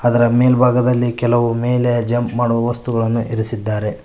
ಅದರ ಮೇಲ್ಭಾಗದಲ್ಲಿ ಕೆಲವು ಮೇಲೆ ಜಂಪ್ ಮಾಡುವ ವಸ್ತುಗಳನ್ನು ಇರಿಸಿದ್ದಾರೆ.